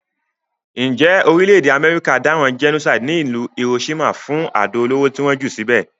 Njé orílẹ̀dè America dáràn genocide ní ìlú Hiroshima fún ti àdó olóró ti won jù síbè